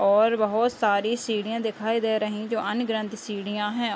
और बहोत सारी सीढ़ियाँ दिखाई दे रही जो अन्ग्रंथ सीढ़ियाँ हैं।